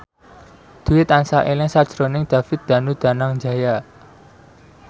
Dwi tansah eling sakjroning David Danu Danangjaya